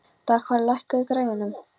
Dagfari, lækkaðu í græjunum.